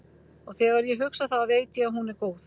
Og þegar ég hugsa það veit ég að hún er góð.